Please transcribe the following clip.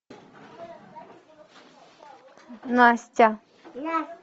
настя